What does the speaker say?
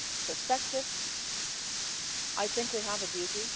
perspective I think we have a duty.